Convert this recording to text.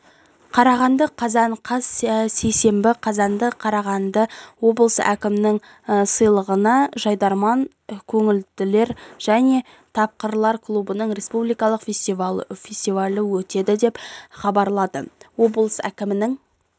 қарағанды қазан қаз сейсенбі қазанда қарағандыда облыс әкімінің сыйлығына жайдарман көңілділер және тапқырлар клубының республикалық фестивалі өтеді деп хабарлады облыс әкімінің